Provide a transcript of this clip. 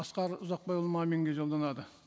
асқар ұзақбайұлы маминге жолданады